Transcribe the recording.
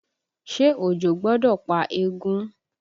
Ṣé òjò gbọ́dọ̀ pa eégún?